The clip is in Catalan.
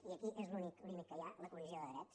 i aquí és l’únic límit que hi ha la collisió de drets